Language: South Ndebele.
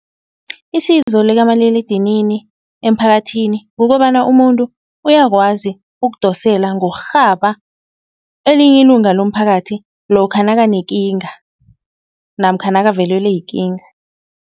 Isizo likamaliledinini emphakathini kukobana umuntu uyakwazi ukudosela ngokurhaba elinye ilunga lomphakathi lokha nakanekinga namkha nakavelelwe yikinga.